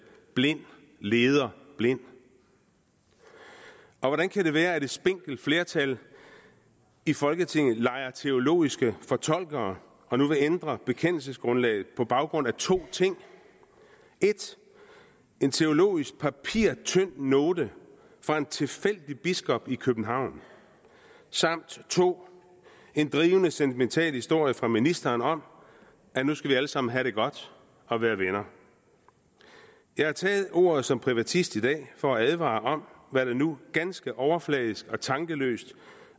blind leder blind og hvordan kan det være at et spinkelt flertal i folketinget leger teologiske fortolkere og nu vil ændre bekendelsesgrundlaget på baggrund af to ting 1 en teologisk papirtynd note fra en tilfældig biskop i københavn samt 2 en drivende sentimental historie fra ministeren om at nu skal vi alle sammen have det godt og være venner jeg har taget ordet som privatist i dag for at advare om hvad der nu ganske overfladisk og tankeløst